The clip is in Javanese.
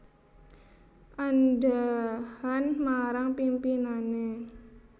Andhahan marang pimpinane